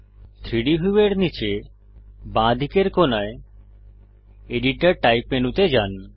3ডি ভিউয়ের নীচে বাঁদিকের কোণায় এডিটর টাইপ মেনুতে যান